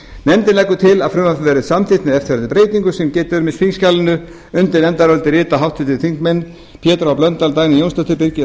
nefndin leggur til að frumvarpið verði samþykkt með eftirfarandi breytingum sem getið er um í þingskjalinu undir nefndarálitið rita háttvirtir þingmenn pétur h blöndal formaður dagný jónsdóttir birgir